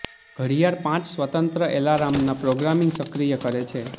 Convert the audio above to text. ઘડિયાળ પાંચ સ્વતંત્ર એલાર્મ ના પ્રોગ્રામિંગ સક્રિય કરે છે